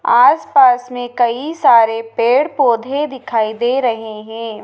आस पास में कई सारे पेड़ पौधे दिखाई दे रहे हैं।